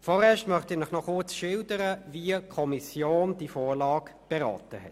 Nun möchte ich Ihnen noch schildern, wie die Kommission diese Vorlage beraten hat.